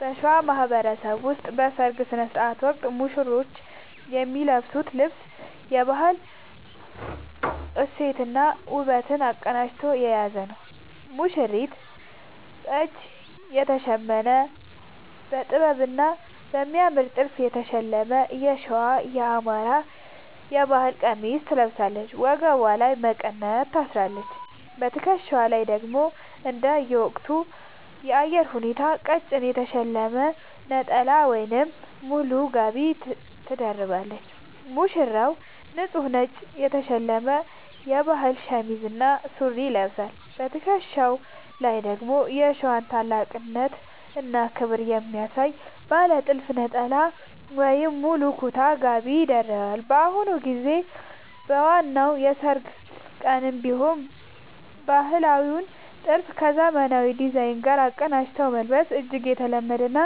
በሸዋ ማህበረሰብ ውስጥ በሠርግ ሥነ ሥርዓት ወቅት ሙሽሮች የሚለብሱት ልብስ የባህል እሴትንና ውበትን አቀናጅቶ የያዘ ነው፦ ሙሽሪት፦ በእጅ የተሸመነ: በጥበብና በሚያምር ጥልፍ የተሸለመ የሸዋ (የአማራ) ባህል ቀሚስ ትለብሳለች። ወገቧ ላይ መቀነት ታስራለች: በትከሻዋ ላይ ደግሞ እንደየወቅቱ የአየር ሁኔታ ቀጭን የተሸለመ ነጠላ ወይም ሙሉ ጋቢ ትደርባለች። ሙሽራው፦ ንጹህ ነጭ የተሸመነ የባህል ሸሚዝ እና ሱሪ ይለብሳል። በትከሻው ላይ ደግሞ የሸዋን ታላቅነትና ክብር የሚያሳይ ባለ ጥልፍ ነጠላ ወይም ሙሉ ኩታ (ጋቢ) ይደርባል። በአሁኑ ጊዜ በዋናው የሠርግ ቀንም ቢሆን ባህላዊውን ጥልፍ ከዘመናዊ ዲዛይን ጋር አቀናጅቶ መልበስ እጅግ የተለመደና